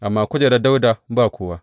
Amma kujeran Dawuda ba kowa.